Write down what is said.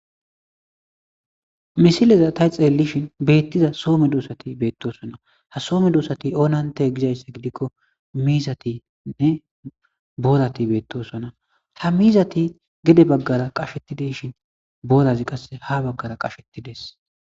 misileza ta xeellishin beettiza soome duosati beettosona ha soome duosati oonante gizayssa gidikko miizatinne boolati beettosona ha miizati gede baggara qashetideshin boolazi qasse ha baggara qashettides